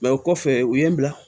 o kɔfɛ u ye n bila